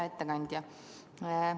Hea ettekandja!